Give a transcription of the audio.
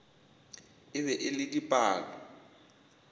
e be e le dipalo